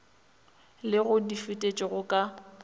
le go di fetetša ka